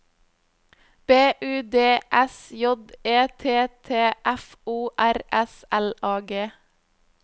B U D S J E T T F O R S L A G